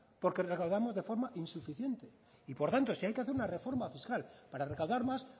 porque recaudamos de forma insuficiente y por tanto si hay que hacer una reforma fiscal para recaudar más